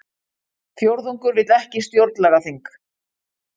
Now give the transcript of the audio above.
Fjórðungur vill ekki stjórnlagaþing